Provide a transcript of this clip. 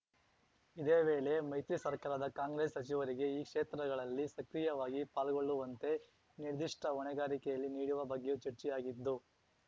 ಇದೇ ವೇಳೆ ಮೈತ್ರಿ ಸರ್ಕಾರದ ಕಾಂಗ್ರೆಸ್‌ ಸಚಿವರಿಗೆ ಈ ಕ್ಷೇತ್ರಗಳಲ್ಲಿ ಸಕ್ರಿಯವಾಗಿ ಪಾಲ್ಗೊಳ್ಳುವಂತೆ ನಿರ್ದಿಷ್ಟಹೊಣೆಗಾರಿಕೆಯಲ್ಲಿ ನೀಡುವ ಬಗ್ಗೆಯೂ ಚರ್ಚೆಯಾಗಿದ್ದು